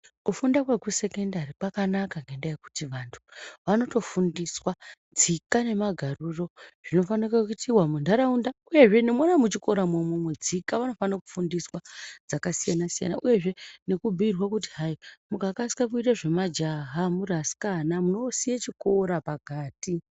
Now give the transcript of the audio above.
Kufunda kwekusekendari kwakanaka ngendaa yekuti vantu vanotofundiswa tsoka nemagariro zvinofanike kuitiwa kuntaraunda uyezve nemwona muchikora mwoumwo tsika vanofanika kufundiswa uyezve nekubhuirwa kuti hai mukakasika kuite zvemajaha muri asikana munosiye chikora pakati.